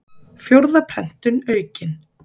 Fjórða prentun aukin.